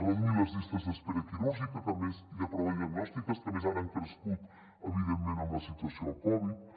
reduir les llistes d’espera quirúrgica i de proves diagnòstiques que a més ara han crescut evidentment amb la situació de la covid dinou